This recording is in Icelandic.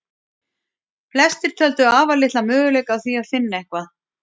Flestir töldu afar litla möguleika á því finna eitthvað.